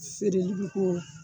feereli bi k'orɔ